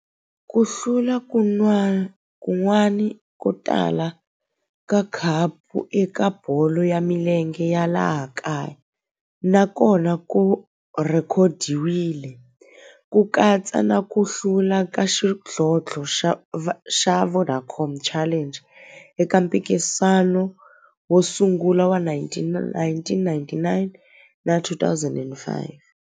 Ku hlula kun'wana ko tala ka khapu eka bolo ya milenge ya laha kaya na kona ku rhekhodiwile, ku katsa na ku hlula ka xidlodlo xa Vodacom Challenge eka mphikizano wo sungula wa 1999 na 2005.